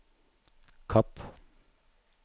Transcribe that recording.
Kapp